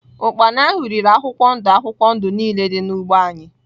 Ụkpana ahụ riri akwụkwọ ndụ akwụkwọ ndụ niile dị n’ugbo anyị.